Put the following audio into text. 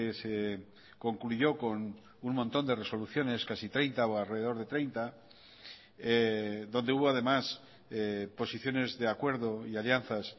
se concluyó con un montón de resoluciones casi treinta o alrededor de treinta donde hubo además posiciones de acuerdo y alianzas